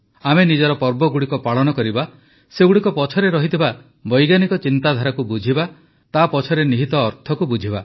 ଆମେ ନିଜ ପର୍ବଗୁଡ଼ିକ ପାଳନ କରିବା ସେଗୁଡ଼ିକ ପଛରେ ରହିଥିବା ବୈଜ୍ଞାନିକ ଚିନ୍ତାଧାରାକୁ ବୁଝିବା ତା ପଛରେ ନିହିତ ଅର୍ଥକୁ ବୁଝିବା